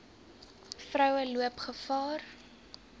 vroue loop gevaar